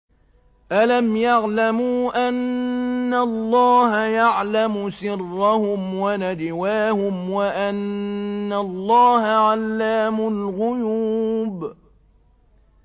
أَلَمْ يَعْلَمُوا أَنَّ اللَّهَ يَعْلَمُ سِرَّهُمْ وَنَجْوَاهُمْ وَأَنَّ اللَّهَ عَلَّامُ الْغُيُوبِ